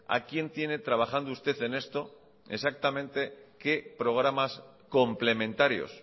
a quién tiene trabajando usted en esto exactamente qué programas complementarios